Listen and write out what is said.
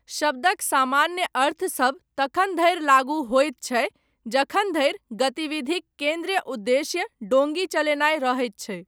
शब्दक सामान्य अर्थसभ तखन धरि लागू होइत छै जखन धरि गतिविधिक केन्द्रीय उद्देश्य डोंगी चलेनाय रहैत छै।